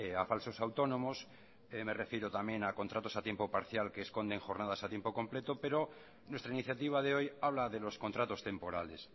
a falsos autónomos me refiero también a contratos a tiempo parcial que esconden jornadas a tiempo completo pero nuestra iniciativa de hoy habla de los contratos temporales